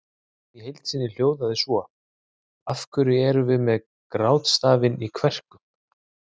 Spurningin í heild sinni hljóðaði svo: Af hverju erum við með grátstafinn í kverkunum?